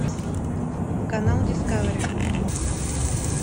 канал дискавери